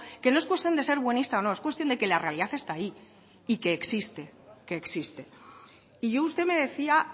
que no es cuestión de ser buenista o no es cuestión de que la realidad está ahí y que existe y usted me decía